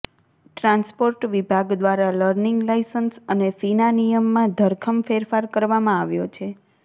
transport વિભાગ દ્વારા learning license અને ફીના નિયમમાં ધરખમ ફેરફાર કરવામા આવ્યો છે